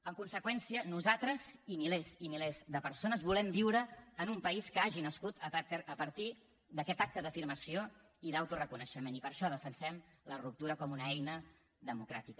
en conseqüència nosaltres i milers i milers de persones volem viure en un país que hagi nascut a partir d’aquest acte d’afirmació i d’autoreconeixement i per això defensem la ruptura com una eina democràtica